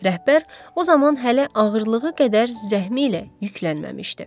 Rəhbər o zaman hələ ağırlığı qədər zəhmi ilə yüklənməmişdi.